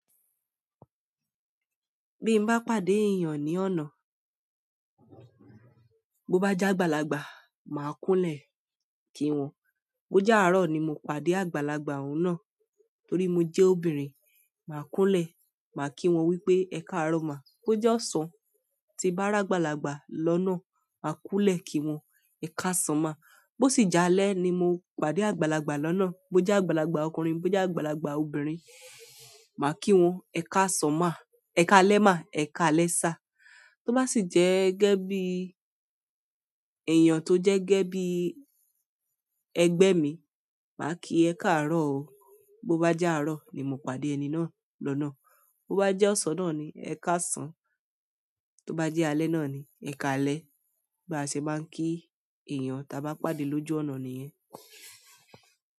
Bí mo bá pàdé èèyàn ní ọ̀nà, bó bá jẹ́ àgbàlagbà, màá kúńlẹ̀ kí wọ́n. Bó jẹ́ àárọ̀ ni mo pàdé àgbàlagbà ọ̀ún náà torí mo jẹ́ obìnrin, màá kúńlẹ̀, màá kí wọ́n wípé "Ẹ káàárọ̀ ma". Bó jẹ́ ọ̀sán tí bá rí àgbàlagbà lọ́nà, màá kúńlẹ̀ kí wọ́n "Ẹ káàsán ma". Bó sì jẹ́ alẹ́ ni mo pàdé àgbàlagbà lọ́nà, bó jẹ́ àgbàlagbà ọkùnrin, bó jẹ́ àgbàlagbà obìnrin, màá kí wọ́n "Ẹ káàsán ma, ẹ káalẹ́ má, ẹ káalẹ́ sir". To ba si je ge bi, eeyan to je ge bi egbe mi, maa ki "e kaaro o". Bó bá jẹ́ àárọ̀ ni mo pàdé ẹni náà lọ́nà, bó bá jẹ́ ọ̀sán náà ni "Ẹ káàsán", tó bá jẹ́ alẹ́ náà ni "Ẹ káalẹ́". Bí a ṣe máa ń kí èèyàn ta bá pàdé lójú ọ̀nà nìyẹn.